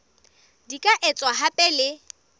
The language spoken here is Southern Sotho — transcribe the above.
di ka etswa hape le